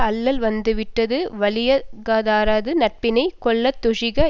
அல்லல் வந்தவிடத்து வலியாகாதாரது நட்பினை கொள்ளாதொழிக